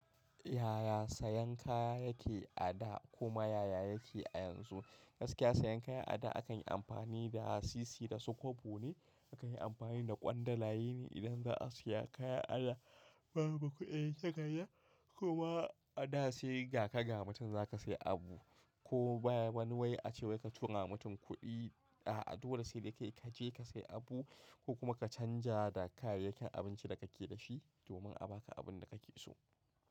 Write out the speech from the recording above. Yaya sayan kaya yake a da kuma yaya yake a yanzu. Gaskiya sayan kaya a da akan yi amfani da sisi da su kwabo ne aka yi amfani da ƙwandalayen ne idan za a siya kaya a da babu kuɗin tagaya kuma a da sai ga ka ga mutum za ka sai abu ko ba wani wai ace ka turawa mutum kuɗi a dole sai dai kai kaje ka sai abu ko kuma ka canja da kayayyakin abinci da kake da shi domin a baka abin da kake so.